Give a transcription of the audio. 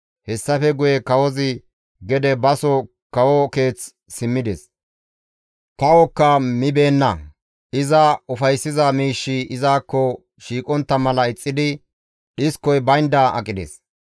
Hessafe guye Kawozi gede baso kawo keeth simmides; kawokka mibeenna; iza ufayssiza miishshi izakko shiiqontta mala ixxidi dhiskoy baynda aqides.